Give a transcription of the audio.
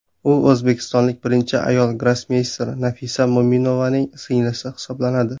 U o‘zbekistonlik birinchi ayol grossmeyster Nafisa Mo‘minovaning singlisi hisoblanadi.